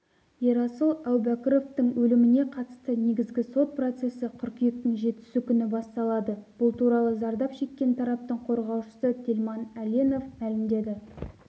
ерасыл әубәкіровтың өліміне қатысты негізгі сот процесі қыркүйектің жетісі күні басталады бұл туралы зардап шеккен тараптың қорғаушысы телман әленов мәлімдеді